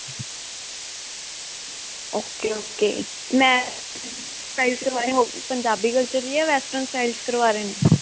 ok, ok. ਮੈਂ, Punjabi culture 'ਚ ਜਾਂ western style 'ਚ ਕਰਵਾ ਰਹੇ ਨੇ?